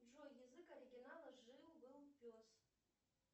джой язык оригинала жил был пес